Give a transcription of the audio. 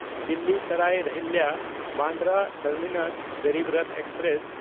Delhi Sarai ᱨᱚᱦᱤᱞᱞᱟ–ᱵᱟᱱᱰᱨᱟ terminus Garib Rath express